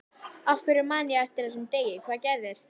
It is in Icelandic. Af hverju man ég eftir þessum degi, hvað gerðist?